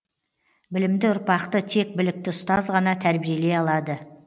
білімді ұрпақты тек білікті ұстаз ғана тәрбиелей алады